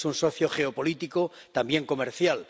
Es un socio geopolítico, también comercial.